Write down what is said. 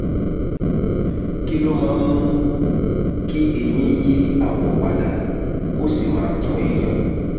kí ló máa ń mú kí eyín yí àwọ̀ pa dà kó sì máa kan èèyàn?